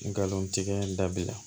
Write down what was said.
Nkalon tigɛ dabila